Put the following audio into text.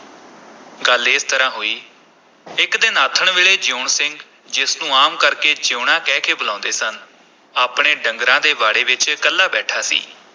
ਗੱਲ ਇਸ ਤਰ੍ਹਾਂ ਹੋਈ, ਇਕ ਦਿਨ ਆਥਣ ਵੇਲੇ ਜੀਊਣ ਸਿੰਘ ਜਿਸ ਨੂੰ ਆਮ ਕਰਕੇ ਜੀਊਣਾ ਕਹਿ ਕੇ ਬੁਲਾਉਂਦੇ ਸਨ, ਆਪਣੇ ਡੰਗਰਾਂ ਦੇ ਵਾੜੇ ਵਿਚ ਇਕੱਲਾ ਬੈਠਾ ਸੀ।